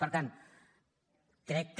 per tant crec que